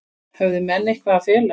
Höfðu menn eitthvað að fela?